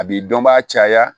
A b'i dɔn baa caya